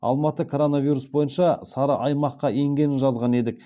алматы коронавирус бойынша сары аймаққа енгенін жазған едік